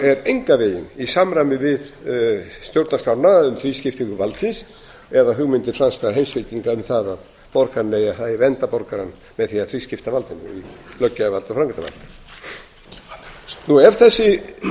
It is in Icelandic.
er engan veginn í samræmi við stjórnarskrána um þrískiptingu valdsins eða hugmyndir franskra heimspekinga um það að það eigi að vernda borgarann með því að þrískipta valdinu í löggjafarvald og framkvæmdarvald ef þessi